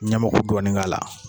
Ɲɛmɛku dɔɔnin k'a la